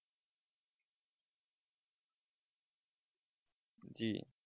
জি